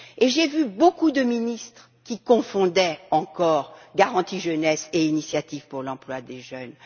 J'ai vu beaucoup de ministres qui confondaient encore garantie jeunesse et initiative pour l'emploi des jeunes.